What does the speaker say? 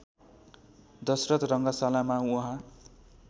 दशरथ रङशालामा उहाँ